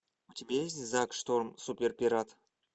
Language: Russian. у тебя есть зак шторм суперпират